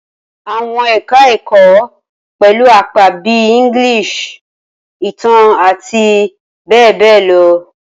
Awọn eka-èkó pẹlu apa bi English, Itan ati be be lo